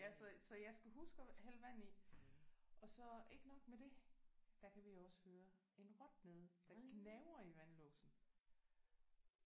Ja så så jeg skal huske at hælde vand i. Og så ikke nok med det. Der kan vi også høre en rotte nede der gnaver i vandlåsen